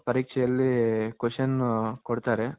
ನಾವು ಪರೀಕ್ಷೆಯಲ್ಲಿ Question ಕೊಡ್ತಾರೆ.